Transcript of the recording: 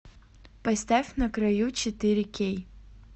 поставь на краю четыре кей